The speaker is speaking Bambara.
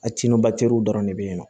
A dɔrɔn de be yen nɔ